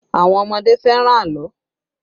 Àwọn ọmọdé fẹ́ràn àlọ́